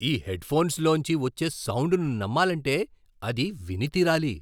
ఈ హెడ్ఫోన్స్ లోంచి వచ్చే సౌండ్ను నమ్మాలంటే అది విని తీరాలి.